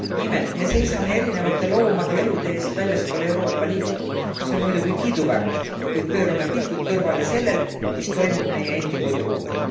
Nimelt me seisame erinevate loomade elude eest väljaspool Euroopa Liitu, mis on muidugi kiiduväärt, kuid pöörame pilgud kõrvale sellelt, mis toimub meie endi koduõuel.